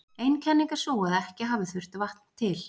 Ein kenning er sú að ekki hafi þurft vatn til.